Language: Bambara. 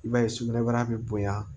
I b'a ye sugunɛbara bɛ bonya